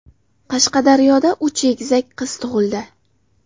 Qashqadaryoda uch egizak qiz tug‘ildi .